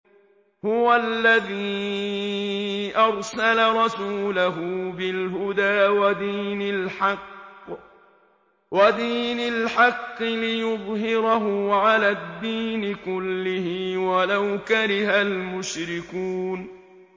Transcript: هُوَ الَّذِي أَرْسَلَ رَسُولَهُ بِالْهُدَىٰ وَدِينِ الْحَقِّ لِيُظْهِرَهُ عَلَى الدِّينِ كُلِّهِ وَلَوْ كَرِهَ الْمُشْرِكُونَ